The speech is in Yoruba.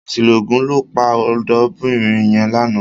Àṣìlò òògùn ló pa ọ̀dọ́bìnrin yẹn lánàá.